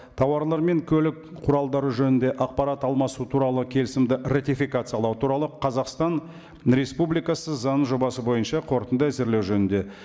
тауарлар мен көлік құралдары жөнінде ақпарат алмасу туралы келісімді ратификациялау туралы қазақстан республикасы заңының жобасы бойынша қорытынды әзірлеу жөнінде